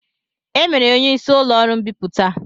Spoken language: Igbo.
E mere ya onye isi ụlọọrụ mbipụta